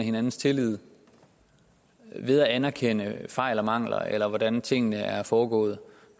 hinandens tillid ved at anerkende fejl og mangler eller hvordan tingene er foregået